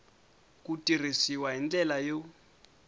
ku tirhisiwa hi ndlela yo